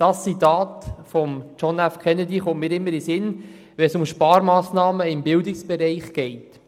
Dieses Zitat von John F. Kennedy kommt mir immer in den Sinn, wenn es um Sparmassnahmen im Bildungsbereich geht.